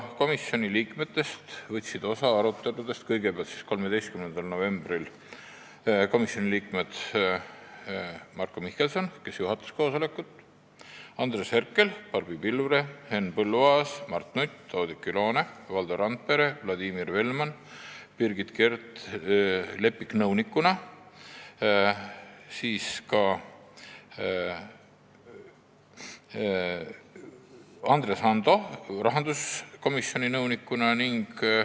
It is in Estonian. Komisjoni liikmetest võtsid aruteludest osa 13. novembril Marko Mihkelson, kes juhatas koosolekut, Andres Herkel, Barbi Pilvre, Enn Põlluaas, Mart Nutt, Oudekki Loone, Valdo Randpere ja Vladimir Velman, Birgit Keerd-Leppik osales nõunikuna ja Andres Ando rahanduskomisjoni nõunikuna.